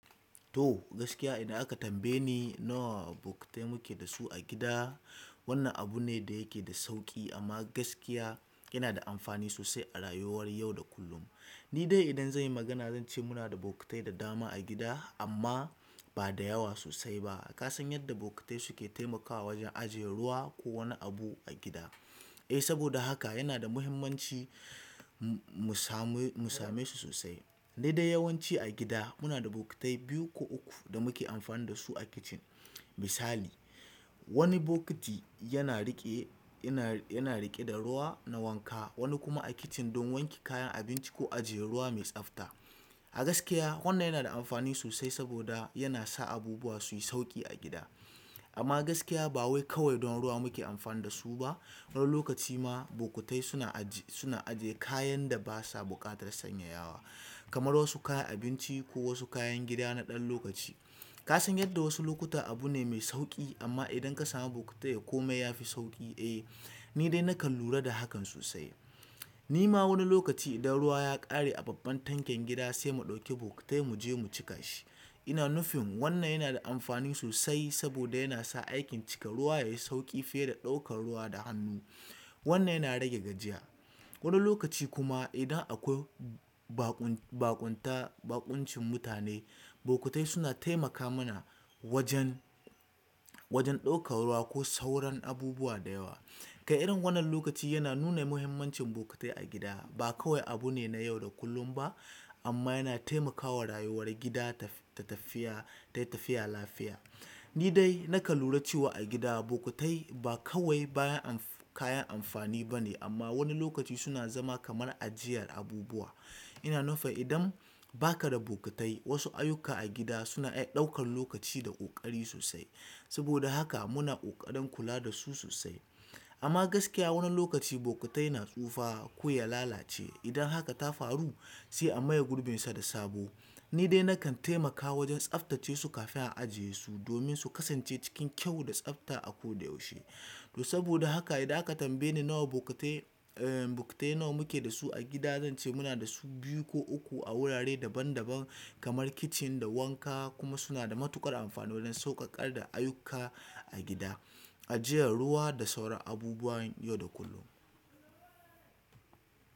To gaskiya idan aka tambaye ni nawa bokitai muke da su a gida, wannan abu ne da yake da sauƙi amma gaskiya yana da amfani sosai a rayuwar yau da kullum. Ni dai idan zan yi magana zan ce muna da bokitai da dama a gida amma ba da yawa sosai ba. Ka san yadda bokitai suke taimakawa wajen ajiye ruwa ko wani abu a gida. Eh saboda haka yana da muhimmanci mu samu, mu same su sosai. Dai dai yawanci a gida muna da bokitai biyu ko uku da muke amfani da su a kicin. Misali, wani bokiti yana riƙe, yana, yana riƙe da ruwa na wanka, wani kuma a kicin don wanke kayan abinci ko ajiye ruwa mai tsafta. A gaskiya wannan yana da amfani sosai saboda yana sa abubuwa su yi sauƙi a gida. Amma gaskiya ba wai kawai don ruwa muke amfani da su ba. Wani lokaci ma bokutai ma suna ajiye kayan da basa buƙatar sanyayawa kamar wasu kayan abinci ko wasu kayan gida na ɗan lokaci. Kasan yadda wasu lokuta abu ne mai sauƙi amma idan kasamu bokitai komai yafi sauƙi. Eh ni dai nakan lura da hakan sosai. Ni ma wani lokaci idan ruwa ya ƙare a babban tankin gida sai mu ɗauki bokiti mu je mu cika shi. Ina nufin wannan yana da amfani sosai saboda yana sa aikin cika ruwa yayi sauƙi fiye da ɗaukan ruwa da hannu. Wannan yana rage gajiya. Wani lokaci kuma idan akwai baƙun, baƙunta, baƙuncin mutane, bokitai suna taimaka mana wajen, wajen ɗaukan ruwa ko sauran abubuwa da yawa. Kai irin wannan lokaci yana nuna muhimmancin bokitai a gida. Ba kawai abu ne na yau da kullum ba amma yana taimakawa rayuwar gida ta tafiya, tayi tafiya lafiya. Ni dai nakan lura cewa a gida bokitai ba kawai bayan kayan amfani bane amma wani lokaci suna zama kamar ajiyar abubuwa. Ina nufa idan ba ka da bokitai wasu ayyuka a gida suna iya ɗaukan lokaci da ƙoƙari sosai. Saboda haka muna ƙoƙarin kula da su sosai. Amma gaskiya wani lokaci bokitai na tsufa ko ya lalace. Idan haka ta faru sai a maye gurbinsa da sabo. Ni dai nakan taimakawa wajen tsaftace su kafin a ajiye su domin su kasance cikin kyau da tsafta a ko da yaushe. To saboda haka idan aka tambaye ni nawa bokitai, eh bokitai nawa muke da su a gida, zan ce muna da su biyu ko uku a wurare daban daban kamar kicin da wanka kuma suna da matuƙar amfani wajen sauƙaƙar da ayyuka a gida, ajiyar ruwa da sauran abubuwa yau da kullum.